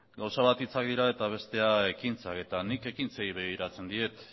gauza bat hitzak dira eta bestea ekintzak eta nik ekintzei begiratzen diet